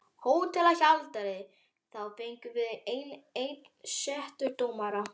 HÓTELHALDARI: Þá fengjum við enn einn setudómara.